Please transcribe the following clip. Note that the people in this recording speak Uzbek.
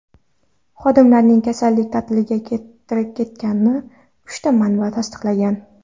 Xodimlarning kasallik ta’tiliga ketganini uchta manba tasdiqlagan.